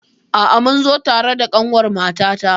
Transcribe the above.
A'a, mun zo tare da ƙanwar mamata.